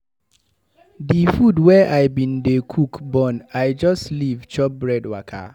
Di food wey I bin dey cook burn, I just leave chop bread waka.